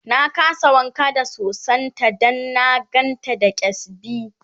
na kasa wanka da sosan ta Dan na gan ta da kyasbi